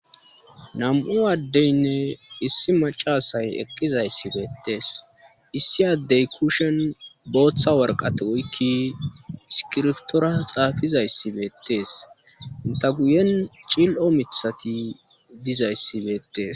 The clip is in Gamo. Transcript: nam7u addeynne issi macasay eqqizayssibeettees issi addey kushen booththa warqati oykki iskirtora xaafizayssibeettees inta guyen cil7o mithati dizayssibeettees